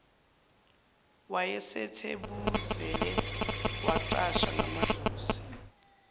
wayesethubeleze wacasha ngamahlozi